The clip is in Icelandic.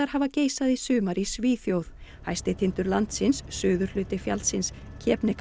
hafa geisað í sumar í Svíþjóð hæsti tindur landsins suðurhluti fjallsins